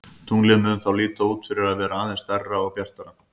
Tunglið mun þá líta út fyrir að vera aðeins stærra og bjartara.